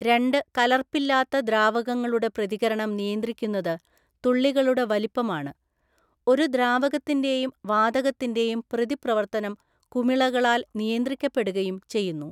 രണ്ട് കലർപ്പില്ലാത്ത ദ്രാവകങ്ങളുടെ പ്രതികരണം നിയന്ത്രിക്കുന്നത് തുള്ളികളുടെ വലിപ്പമാണ്. ഒരു ദ്രാവകത്തിന്റെയും വാതകത്തിന്റെയും പ്രതിപ്രവർത്തനം കുമിളകളാൽ നിയന്ത്രിക്കപ്പെടുകയും ചെയ്യുന്നു.